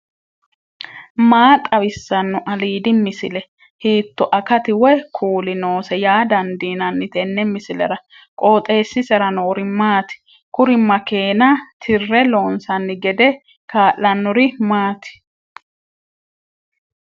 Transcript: maa xawissanno aliidi misile ? hiitto akati woy kuuli noose yaa dandiinanni tenne misilera? qooxeessisera noori maati ? kuri makeena tirre loonsanni gede kaa'lannori maati